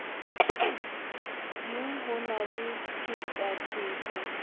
ding ho na le phetapheto